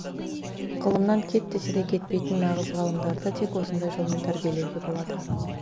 ғылымнан кет десе де кетпейтін нағыз ғалымдарды тек осындай жолмен тәрбиелеуге болады